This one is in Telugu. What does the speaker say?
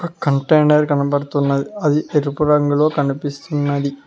కంటెనర్ కనబడుతున్నది అది ఎరుపు రంగులో కనిపిస్తున్నది.